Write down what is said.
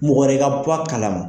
Mɔgɔ wɛrɛ ka bɔ a kalama